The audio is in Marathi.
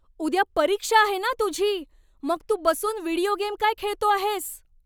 उद्या परीक्षा आहे ना तुझी, मग तू बसून व्हिडिओ गेम काय खेळतो आहेस?